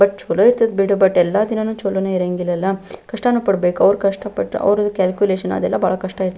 but ಚಲೋ ಇರ್ತದ್ ಬಿಡು ಬಟ್ ಎಲ್ಲದಿನನು ಚಲೊನು ಇರೋಂಗಿಲ್ಲ ಅಲ್ಲ ಕಷ್ಟನು ಪಡಬೇಕು ಅವ್ರು ಕಷ್ಟ ಪಟ್ಟು ಅವ್ರ್ ಕಾಲ್ಕ್ಯುಲೇಷನ್ ಅದ್ದೆಲ್ಲ ಬಹಳ ಕಷ್ಟ ಇ --